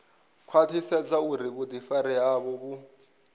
khwaṱhisedza uri vhuḓifari havho vhu